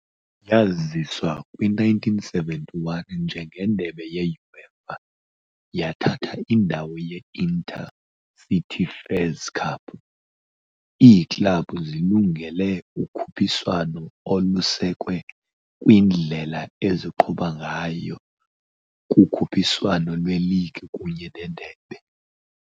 Yaziswa kwi-1971 njengeNdebe ye-UEFA, yathatha indawo ye- Inter-Cities Fairs Cup .] Iiklabhu zilungele ukhuphiswano olusekwe kwindlela eziqhuba ngayo kukhuphiswano lweligi kunye nendebe.